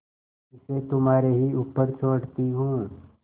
इसे तुम्हारे ही ऊपर छोड़ती हूँ